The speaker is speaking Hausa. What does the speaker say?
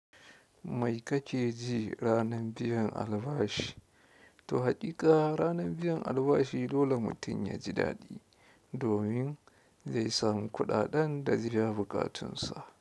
Mai ka ke ji ranan biyan albashi? To haƙiƙa ranan biyan albashi dole mutum ya ji daɗi, domin zai samu kuɗaɗen da zai biya buƙatunsa.